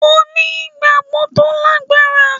Mo ní ìgbàgbọ́ tó lágbára